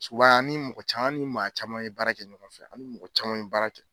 Suwan an ni mɔgɔ caman an ni maa caman ye baara kɛ ɲɔgɔn fɛ ani mɔgɔ caman be baara kɛ